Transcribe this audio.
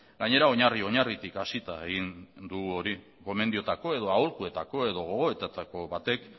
gainera oinarri oinarritik hasita egin dugu hori gomendioetako edo aholkuetako edo gogoetetako batek